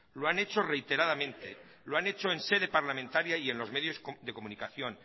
lo han hecho reiteradamente lo han hecho en sede parlamentaria y en los medios de comunicación